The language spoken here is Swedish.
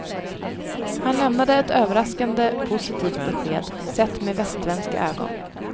Han lämnade ett överraskande positivt besked, sett med västsvenska ögon.